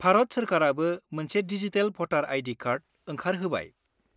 भारत सोरखारआबो मोनसे डिजिटेल भटार आइ.डि. कार्ड ओंखारहोबाय।